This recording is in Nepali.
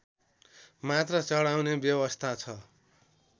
मात्र चढाउने व्यवस्था छ